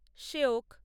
সিওক